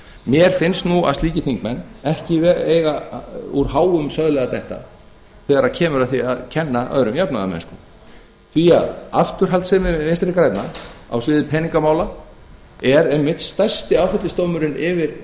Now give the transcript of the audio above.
mér finnst nú að slíkir þingmenn ekki eiga úr háum söðli að detta þegar kemur að því að kenna öðrum jafnaðarmennsku því afturhaldssemi vinstri grænna á sviði peningamála er einmitt stærsti áfellisdómurinn yfir